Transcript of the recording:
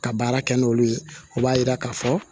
Ka baara kɛ n'olu ye o b'a yira k'a fɔ